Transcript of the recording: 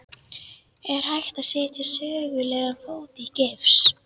Er hægt að setja sögulegan fót í gifs?